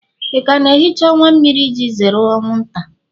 ị ka ga-ehicha ọwa mmiri iji zere anwụnta?